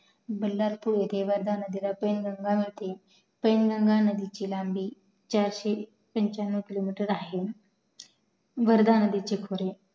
बालहरपूर इथे वर्धा नदीला फाईन गंगा नदी पैनगंगा नदीची लंबी पंच्यनव किलोमीटर आहे वर्धा नदीचे खोरे